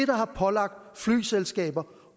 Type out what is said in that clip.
der har pålagt flyselskaber